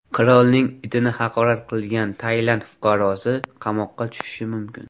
Qirolning itini haqorat qilgan Tailand fuqarosi qamoqqa tushishi mumkin.